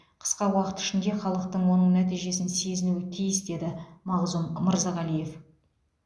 қысқа уақыт ішінде халықтың оның нәтижесін сезінуі тиіс деді мағзұм мырзағалиев